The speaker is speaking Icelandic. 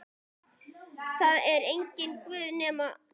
Það er enginn Guð nema Guð.